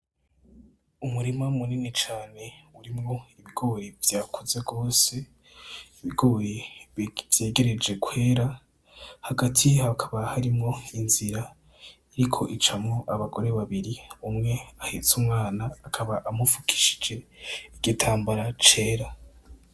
Umurima munini cane urimwo ibigori vyakuze gose , ibigori vyegereje kwera hagati hakaba harimwo inzira iriko icamwo abagore babiri, umwe ahets'umwana akaba amupfukishije igitambara cera .